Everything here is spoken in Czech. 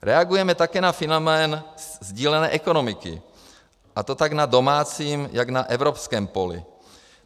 Reagujeme také na fenomén sdílené ekonomiky, a to jak na domácím, tak na evropském poli.